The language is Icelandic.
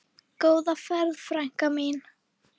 Góða ferð, frænka mín.